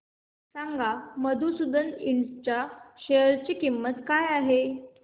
सांगा मधुसूदन इंड च्या शेअर ची किंमत काय आहे